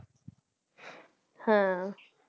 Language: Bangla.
হ্যাঁ